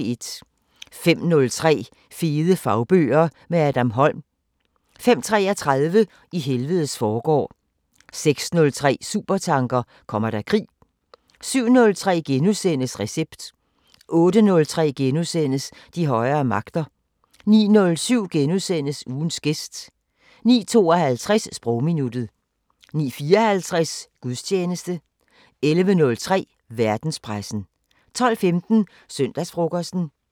05:03: Fede fagbøger – med Adam Holm 05:33: I helvedes forgård 06:03: Supertanker: Kommer der krig? 07:03: Recept * 08:03: De højere magter * 09:07: Ugens gæst * 09:52: Sprogminuttet 09:54: Gudstjeneste 11:03: Verdenspressen 12:15: Søndagsfrokosten